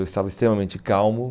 Eu estava extremamente calmo.